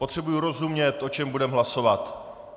Potřebuji rozumět, o čem budeme hlasovat.